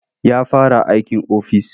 Ya fara aikin ofis.